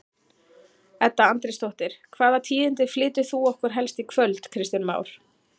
Edda Andrésdóttir: Hvaða tíðindi flytur þú okkur helst í kvöld Kristján Már?